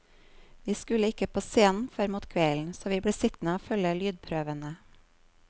Vi skulle ikke på scenen før mot kvelden, så vi ble sittende og følge lydprøvene.